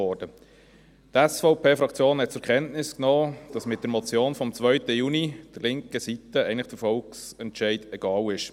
Die SVP-Fraktion hat zur Kenntnis genommen, dass mit dieser Motion vom 2. Juni der linken Seite der Volksentscheid eigentlich egal ist.